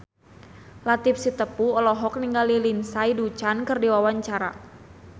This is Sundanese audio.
Latief Sitepu olohok ningali Lindsay Ducan keur diwawancara